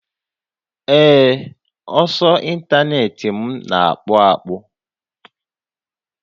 Ee, ọsọ ịntanetị m na akpụ akpụ